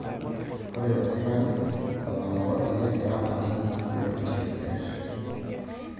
Ore ilo sikari otang'roki negira atii biotisho sidai